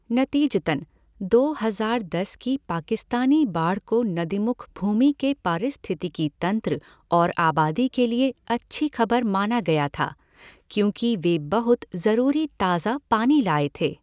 नतीजतन, दो हज़ार दस की पाकिस्तानी बाढ़ को नदीमुख भूमि के पारिस्थितिकी तंत्र और आबादी के लिए 'अच्छी खबर' माना गया था, क्योंकि वे बहुत जरूरी ताज़ा पानी लाए थे।